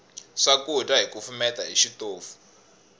swakudya hi kufumeta hi xitofu